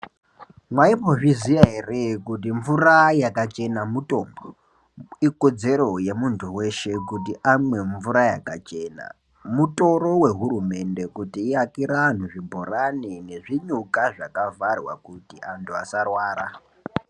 Mwaimbozviziya ere kuti mvura yakachena mutombo ikodzero yemuntu weshe kuti amwe mvura yakachena mutoro rehurumende kuti iakire antu zvibhorani nezvinyuka zvakavharwa kuti vantu vasarwara.